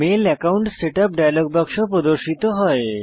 mail account setup dialog বাক্স প্রদর্শিত হয়